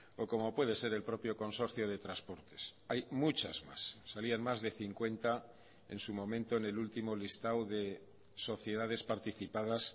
o como puede ser el propio consorcio de transportes hay muchas más salían más de cincuenta en su momento en el último listado de sociedades participadas